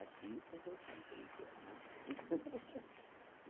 Artista, você sabe como que é, né?